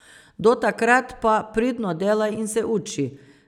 Do takrat pa pridno delaj in se uči.